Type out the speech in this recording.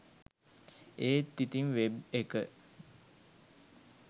ඒත් ඉතිං වෙබ් එක